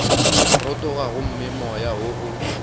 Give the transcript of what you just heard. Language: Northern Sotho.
rotoga gomme moya wo o